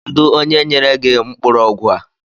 Kedu onye nyere gị mkpụrụ ọgwụ a?